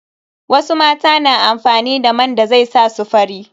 Wasu mata na amfani da man da zai sa su fari.